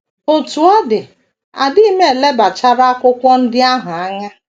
Otú ọ dị, adịghị m elebachara akwụkwọ ndị ahụ anya.